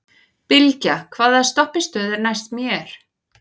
Bylgja, hvaða stoppistöð er næst mér?